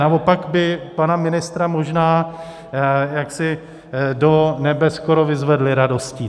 Naopak by pana ministra možná jaksi do nebe skoro vyzvedli radostí.